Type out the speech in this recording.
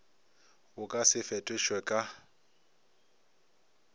bo ka se fetošwe ka